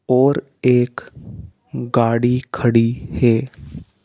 और एक गाड़ी खड़ी है।